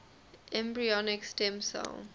embryonic stem cell